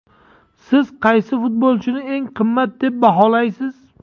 Siz qaysi futbolchini eng qimmat deb baholaysiz?